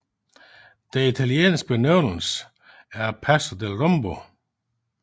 Den italienske benævnelse er Passo del Rombo